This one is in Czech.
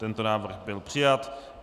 Tento návrh byl přijat.